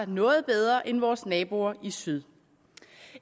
noget bedre end vores naboer i syd